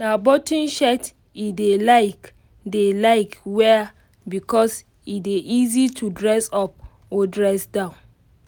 na button shirt e dey like dey like wear because e dey easy to dress up or dress down